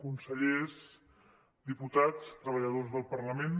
consellers diputats treballadors del parlament